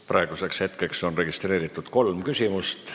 Praeguseks on registreeritud kolm küsimust.